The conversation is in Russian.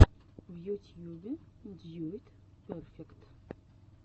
в ютьюбе дьюд перфект